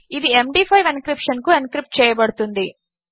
the MD five encryption కుఎన్క్రిప్ట్చేయబడుతుంది